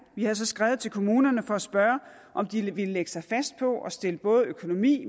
vi har så skrevet til kommunerne for at spørge om de ville lægge sig fast på at stille både økonomi